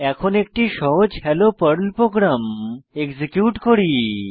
এখন একটি সহজ হ্যালো পর্ল প্রোগ্রাম এক্সিকিউট করি